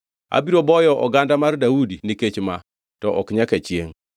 Abiro boyo oganda mar Daudi nikech ma, to ok nyaka chiengʼ.’ ”